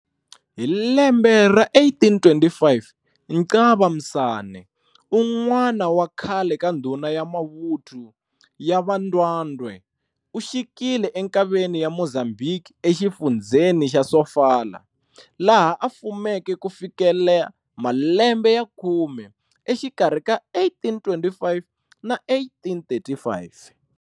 Hi lembe ra 1825 Nxaba Msane, un'wana wa khale ka ndhuna ya mavuthu ya va Ndwandwe uxikile enkaveni ya Mozambhiki, exifundzheni xa Sofala, laha a fumeke kufikela malembe ya khume, exikarhi ka 1825 na 1835.